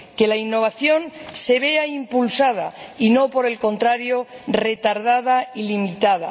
que la innovación se vea impulsada y no, por el contrario, retardada y limitada.